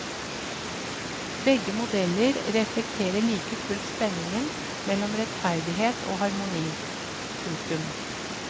Begge modeller reflekterer like fullt spenningen mellom rettferdighet og harmoni. punktum